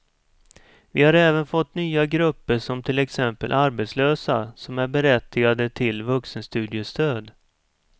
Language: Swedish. Vi har även fått nya grupper som till exempel arbetslösa som är berättigade till vuxenstudiestöd.